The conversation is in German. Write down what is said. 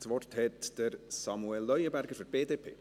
Das Wort hat Samuel Leuenberger für die BDP.